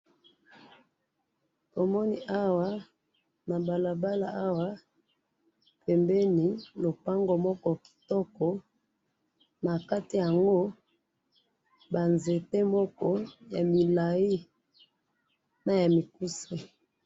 omoni awa na balabala awa pembeni lopango moko kitoko nakati yango ba nzete moko ya milayi pe ya mikuse